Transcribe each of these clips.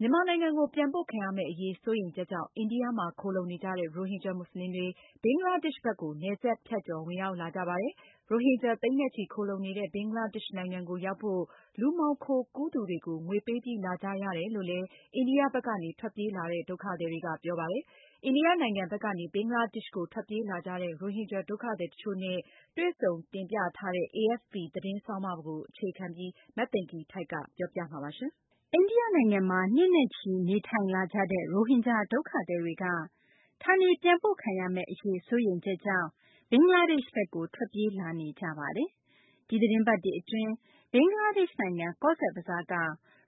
မြန်မာနိုင်ငံကို ပြန်ပို့ခံရမယ့် အရေး စိုးရိမ်ချက်ကြောင့် အိန္ဒိယမှာ ခိုလှုံနေကြတဲ့ ရိုဟင်ဂျာ မူဆလင်တွေ ဘင်္ဂလားဒေရှ့်ဘက်ကို နယ်စပ်ဖြတ်ကျော် ဝင်ရောက်လာကြပါတယ်။ ရိုဟင်ဂျာ သိန်းနဲ့ချီ ခိုလှုံနေတဲ့ ဘင်္ဂလားဒေရှ့်နိုင်ငံကို ရောက်ဖို့ လူမှောင်ခိုကူးသူတွေကို ငွေပေးပြီး လာကြရတယ်လို့လည်း အိန္ဒိယဘက်ကနေ ထွက်ပြေးလာတဲ့ ဒုက္ခသည်တွေက ပြောပါတယ်။ အိန္ဒိယ နိုင်ငံဘက်ကနေ ဘင်္ဂလားဒေရှ့်ကို ထွက်ပြေးလာကြတဲ့ ရိုဟင်ဂျာ ဒုက္ခသည် တချို့နဲ့ တွေ့ဆုံတင်ပြထားတဲ့ AFP သတင်းဆောင်းပါးကို အခြေခံပြီး မသိင်္ဂ ီထိုက် တင်ပြပေးမှာပါ။ အိန္ဒိယနိုင်ငံမှာ နှစ်နဲ့ချီ နေထိုင်လာကြတဲ့ ရိုဟင်ဂျာ ဒုက္ခသည်တွေက ဌာနေပြန်ပို့ခံရမယ့် အရေး စိုးရိမ်ချက်ကြောင့် ဘင်္ဂလားဒေရှ့်ဘက်ကို ထွက်ပြေးလာနေကြပါတယ်။ ဒီသတင်းပတ်တွေ အတွင်း ဘင်္ဂလားဒေရှ့် နိုင်ငံ ကောဇ်ဘဇားက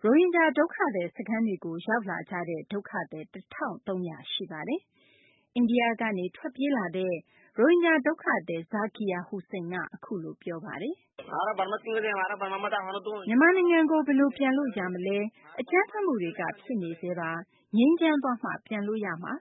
ရိုဟင်ဂျာ ဒုက္ခသည် စခန်းတွေကို ရောက်ရှိလာကြတဲ့ ဒုက္ခသည် ၁၃၀၀ ရှိနေပါတယ်။ အိန္ဒိယကနေ ထွက်ပြေးလာတဲ့ ရိုဟင်ဂျာ ဒုက္ခသည် Zakir Hossain က အခုလို ပြောပါတယ်။ "မြန်မာနိုင်ငံကို ဘယ်လို ပြန်လို့ ရမလဲ။ အကြမ်းဖက်မှုတွေက ဖြစ်နေဆဲပါ။ ငြိမ်းချမ်းသွားမှ ကျနော်တို့ ပြန်လို့ ရမှာ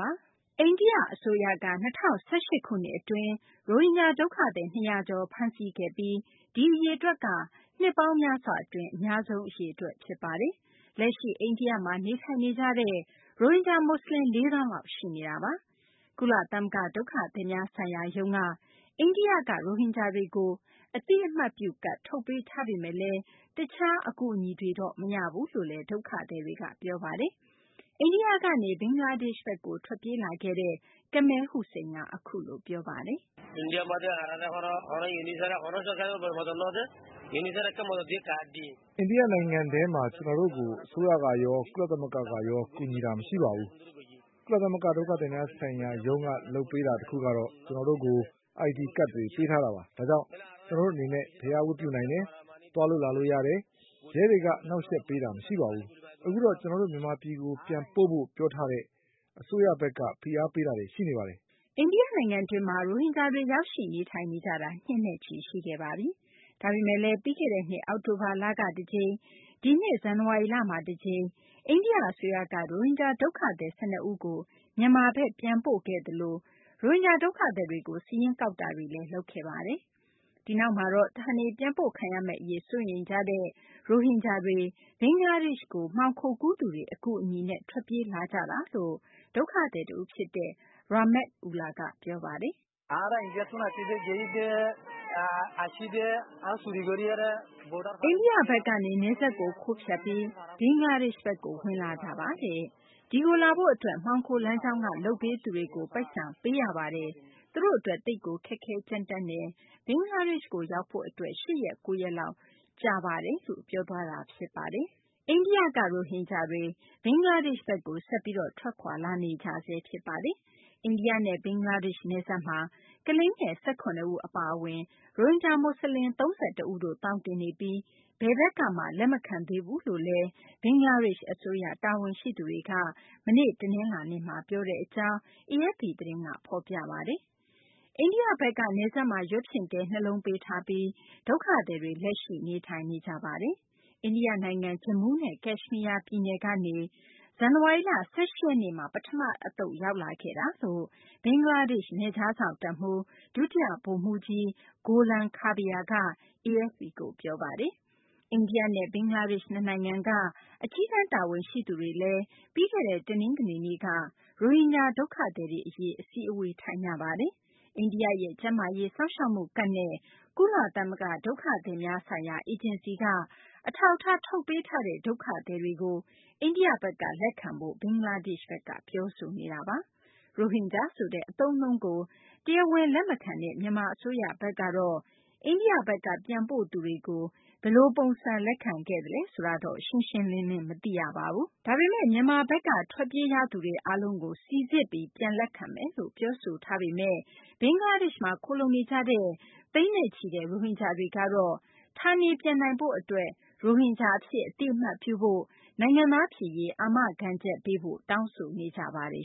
ပါ။" အိန္ဒိယ အစိုးရက ၂၀၁၈ ခုနှစ် အတွင်း ရိုဟင်ဂျာ ဒုက္ခသည် ၂၀၀ ကျော် ဖမ်းဆီးခဲ့ပြီး ဒီအရေအတွက်ဟာဆိုရင် နှစ်ပေါင်းများစွာ အတွင်း အများဆုံး အရေအတွက် ဖြစ်ပါတယ်။ လက်ရှိ အိန္ဒိယမှာ နေထိုင်နေကြတဲ့ ရိုဟင်ဂျာ မူဆလင် ၄ သောင်းလောက် ရှိနေတာပါ။ ကုလသမဂ္ဂ ဒုက္ခသည်များဆိုင်ရာရုံးက အိန္ဒိယမှာ နေနေကြတဲ့ ရိုဟင်ဂျာတွေကို အသိအမှတ်ပြု ကဒ် ထုတ်ပေးထားပေမယ့်လည်း တခြား အကူအညီတွေ မရဘူးလို့လည်း ဒုက္ခသည်တွေက ပြောပါတယ်။ အိန္ဒိယကနေ ဘင်္ဂလားဒေရှ့်ဘက်ကို ထွက်ပြေးလာခဲ့သူ Kamal Hossain က အခုလို ပြောပါတယ်။ "အိန္ဒိယ နိုင်ငံထဲမှာ ကျနော်တို့ကို အစိုးရကရော ကုလသမဂ္ဂကရော ကူညီတာ မရှိပါဘူး။ ကုလသမဂ္ဂ ဒုက္ခသည်များဆိုင်ရာရုံးက လုပ်ပေးတာ တခုကတော့ ကျနော်တို့ကို ID ကဒ်တွေ ပေးထားတာပါ။ ဒါကြောင့် ကျနော်တို့ အနေနဲ့ ဘုရား ဝတ်ပြုနိုင်တယ်၊ သွားလို့ လာလို့ ရတယ်။ ကျနော်တို့ နေရာတာ အဆင်ပြေပါတယ်။ ရဲတွေက အနှောင့်အယှက်ပေးတာ မရှိပါဘူး။ အခုတော့ ကျနော်တို့ မြန်မာပြည်ကို ပြန်ပို့ဖို့ ပြောထားတဲ့ အစိုးရဘက်က ဖိအားပေးတာတွေ ရှိပါတယ်။" အိန္ဒိယ နိုင်ငံတွင်းမှာ ရိုဟင်ဂျာတွေ ရောက်ရှိ နေထိုင်နေကြတာ နှစ်နဲ့ချီ ရှိခဲ့ပါပြီ။ ဒါပေမယ့်လည်း ပြီးခဲ့တဲ့နှစ် အောက်တိုဘာလက တကြိမ်၊ ဒီနှစ် ဇန်နဝါရီလမှာ တကြိမ် အိန္ဒိယ အစိုးရက ရိုဟင်ဂျာ ဒုက္ခသည် ၁၂ ဦးကို မြန်မာဘက် ပြန်ပို့ခဲ့သလို ရိုဟင်ဂျာ ဒုက္ခသည်တွေကို စာရင်းကောက်ယူတာတွေလည်း လုပ်ခဲ့တာပါ။ ဒီနောက်မှာတော့ ဌာနေပြန်ပို့ခံရမယ့် အရေး စိုးရိမ်ကြတဲ့ ရိုဟင်ဂျာတွေ ဘင်္ဂလားဒေရှ့်ကို မှောင်ခိုကူးသူတွေ အကူအညီနဲ့ ထွက်ပြေးလာကြတာလို့ ဒုက္ခသည် တဦး ြဖ်စတဲ့ Rahmat Ullah က ပြောပါတယ်။ "အိန္ဒိယဘက်ကနေ နယ်စပ်ကို ခိုးဖြတ်ပြီး ဘင်္ဂလားဒေရှ့်ဘက်ကို ဝင်လာတာပါ။ ဒီကိုလာဖို့ အတွက် မှောင်ခိုလမ်းကြောင်းက လုပ်ပေးသူတွေကို ပိုက်ဆံ ပုံပေးရပါတယ်။ ကျနော်တို့ အတွက် သိပ်ကို ခက်ခဲ ကြမ်းတမ်းလှပါတယ်။ ဘင်္ဂလားဒေရှ့်ကို ရောက်ဖို့ အတွက် ၈ ရက်၊ ၉ ရက်လောက် ကြာပါတယ်။" အိန္ဒိယဘက်ကနေ ရိုဟင်ဂျာတွေ ဘင်္ဂလားဒေရှ့်ဘက်ကို ဆက်ပြီး ထွက်ခွာလာနေကြဆဲ ဖြစ်ပါတယ်။ အိန္ဒိယနဲ့ ဘင်္ဂလားဒေရှ့် နယ်စပ်မှာ ကလေးငယ် ၁၇ ဦး အပါအဝင် ရိုဟင်ဂျာ မူဆလင် ၃၁ ဦးတို့ သောင်တင်နေပြီး ဘယ်ဘက်ကမှ လက်မခံသေးဘူးလို့လည်း ဘင်္ဂလားဒေရှ့် အစိုးရ တာဝန်ရှိသူတွေက မနေ့ တနလာၤနေ့က ပြောဆိုတဲ့ အကြောင်း AFP သတင်းက ဖော်ပြပါတယ်။ အိန္ဒိယဘက်က နယ်စပ်မှာ ရွက်ဖျင်တဲ နှစ်လုံး ပေးထားပြီး အဲဒီ ဒုက္ခသည်တွေ လက်ရှိ နေထိုင်နေကြပါတယ်။ အိန္ဒိယ နိုင်ငံ ဂျမူးနဲ့ ကက်ရှမီးယား ပြည်နယ်ကနေ ဇန်နဝါရီလ ၁၈ ရက်နေ့မှာ ပထမ တသုတ် ရောက်ရှိလာခဲ့တာလို့ ဘင်္ဂလားဒေရှ့် နယ်ခြားစောင့် တပ်မှူး ဒုတိယ ဗိုလ်မှူးကြီး Golam Kabir က AFP ကို ပြောပါတယ်။ အိန္ဒိယနဲ့ ဘင်္ဂလားဒေရှ့် နှစ်နိုင်ငံက အကြီးတန်း တာဝန်ရှိသူတွေက ပြီးခဲ့တဲ့ တနင်္ဂနွေနေ့က ရိုဟင်ဂျာ ဒုက္ခသည်တွေ အရေး အစည်းအဝေး ထိုင်ကြပါတယ်။ အိန္ဒိယရဲ့ ကျန်းမာရေး စောင့်ရှောက်မှုကဒ်နဲ့ ကုလသမဂ္ဂ ဒုက္ခသည်များဆိုင်ရာ အေဂျင်စီက အထောက်အထား ထုတ်ပေးထားတဲ့ ဒုက္ခသည်တွေကို အိန္ဒိယဘက်က လက်ခံဖို့ ဘင်္ဂလားဒေရှ့်ဘက်က ပြောဆိုနေတာပါ။ ရိုဟင်ဂျာ ဆိုတဲ့ အသုံးအနှုန်းကို တရားဝင် လက်မခံတဲ့ မြန်မာ အစိုးရဘက်က အိန္ဒိယဘက်က ပြန်ပို့သူတွေကို ဘယ်လို ပုံစံ လက်ခံခဲ့သလဲ ဆိုတာ ရှင်းရှင်းလင်းလင်း မရှိပါဘူး။ ဒါပေမယ့် မြန်မာဘက်က ထွက်ပြေးရသူတွေ အားလုံးကို စိစစ်ပြီး လက်ခံမယ်လို့ ပြောဆိုထားပေမယ့် ဘင်္ဂလားဒေရှ့်မှာ ခိုလှုံနေကြတဲ့ သိန်းနဲ့ချီတဲ့ ရိုဟင်ဂျာတွေကတော့ ဌာနေပြန်နိုင်ရေး အတွက် ရိုဟင်ဂျာ အဖြစ် အသိအမှတ်ပြုဖို့ နိုင်ငံသား ဖြစ်ရေး အာမခံချက် ပေးဖို့ တောင်းဆိုနေကြပါတယ်